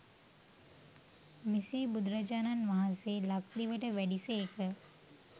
මෙසේ බුදුරජාණන් වහන්සේ ලක්දිවට වැඩි සේක.